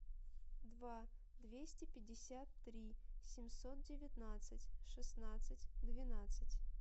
два двести пятьдесят три семьсот девятнадцать шестнадцать двенадцать